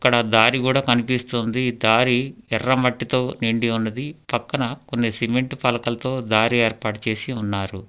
ఇక్కడ దారి కూడా కనిపిస్తోంది దారి ఎర్ర మట్టితో నిండి ఉన్నది పక్కన కొన్ని సిమెంట్ పలకలతో దారి ఏర్పాటు చేసి ఉన్నారు.